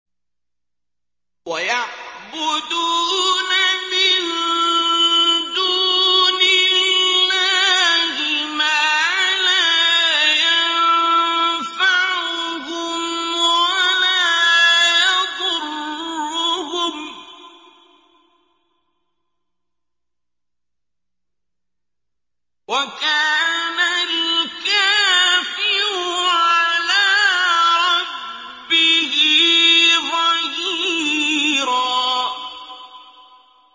وَيَعْبُدُونَ مِن دُونِ اللَّهِ مَا لَا يَنفَعُهُمْ وَلَا يَضُرُّهُمْ ۗ وَكَانَ الْكَافِرُ عَلَىٰ رَبِّهِ ظَهِيرًا